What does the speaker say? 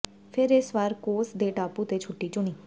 ਫਿਰ ਇਸ ਵਾਰ ਕੋਸ ਦੇ ਟਾਪੂ ਤੇ ਛੁੱਟੀ ਚੁਣੀ